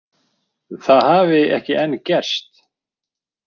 Það hafi ekki enn gerst